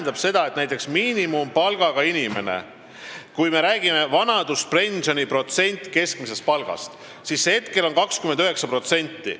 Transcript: Kui me räägime sellest, kui suure protsendi moodustab vanaduspension keskmisest palgast, siis hetkel on see 29%.